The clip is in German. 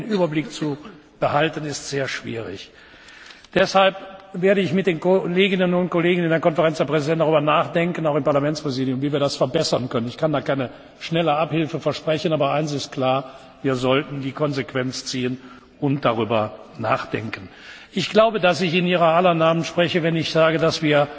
Doch den Überblick zu behalten, ist sehr schwierig. Deshalb werde ich mit den Kolleginnen und Kollegen in der Konferenz der Präsidenten und auch im Parlamentspräsidium darüber nachdenken, wie wir das verbessern können. Ich kann da keine schnelle Abhilfe versprechen, aber eines ist klar Wir sollten die Konsequenzen daraus ziehen und darüber nachdenken! Ich glaube, dass ich in Ihrer aller Namen spreche, wenn ich sage,